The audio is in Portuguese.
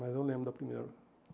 Mas eu lembro da primeira.